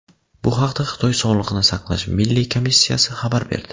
Bu haqda Xitoy Sog‘liqni saqlash milliy komissiyasi xabar berdi .